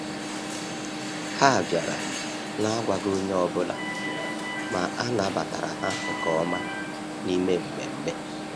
Ha bịara na-agwaghị onye ọbụla, ma a nabatara ha nke ọma n’ime mmemme.